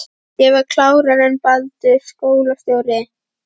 Ég var klárari en Baldur skólastjóri.